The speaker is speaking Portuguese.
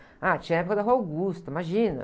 Ah, tinha a época da Rua Augusta, imagina.